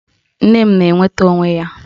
Nne m na-enweta onwe ya